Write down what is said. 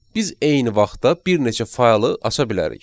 Biz eyni vaxtda bir neçə faylı aça bilərik.